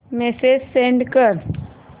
message send कर